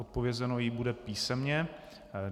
Odpovězeno jí bude písemně.